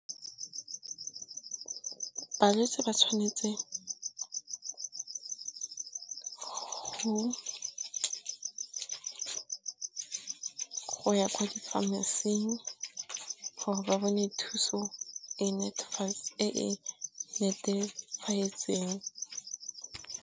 Balwetse ba tshwanetse go ya kwa di-pharmacy-ing gore ba bone thuso e e netefatseng.